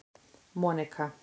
Monika